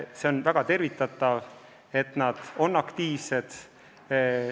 See on väga tervitatav, et nad on aktiivsed.